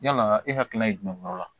Yala e hakilina ye jumɛn yɔrɔ la